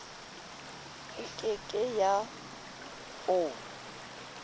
e ke ke ya o